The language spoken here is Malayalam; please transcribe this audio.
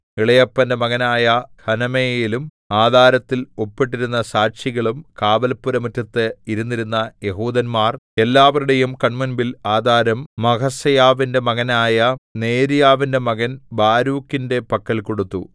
ഇളയപ്പന്റെ മകനായ ഹനമെയേലും ആധാരത്തിൽ ഒപ്പിട്ടിരുന്ന സാക്ഷികളും കാവല്പുരമുറ്റത്തു ഇരുന്നിരുന്ന യെഹൂദന്മാർ എല്ലാവരുടെയും കണ്മുമ്പിൽ ആധാരം മഹസേയാവിന്റെ മകനായ നേര്യാവിന്റെ മകൻ ബാരൂക്കിന്റെ പക്കൽ കൊടുത്തു